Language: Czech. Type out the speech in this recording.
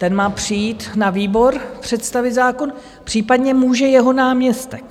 Ten má přijít na výbor představit zákon, případně může jeho náměstek.